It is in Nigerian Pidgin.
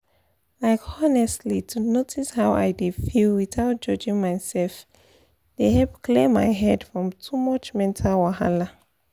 like honestly to notice how i dey feel without judging myself dey help clear my head from too much mental wahala